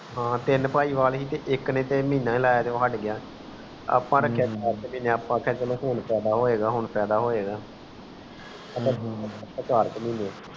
ਹਨ ਤੀਨ ਪਾਈ ਵਾਲ ਥੇ ਤੇ ਇਕ ਨੇਮਹੀਨਾ ਹੀ ਲਾਯਾ ਤੇ ਉਹ ਹਟ ਗਯਾ ਅੱਪਾ ਰਖਿਆ ਅੱਪਾ ਚਲੋ ਹੁਣ ਯਾਦ ਹੋਏਗਾ ਹੁਣ ਯਾਦ ਹੋਏਗਾ